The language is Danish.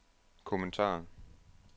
kommentar